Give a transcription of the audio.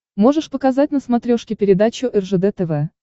можешь показать на смотрешке передачу ржд тв